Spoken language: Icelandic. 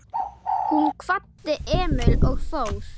Hún kvaddi Emil og fór.